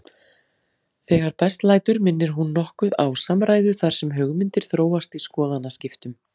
Þegar best lætur minnir hún nokkuð á samræðu þar sem hugmyndir þróast í skoðanaskiptum.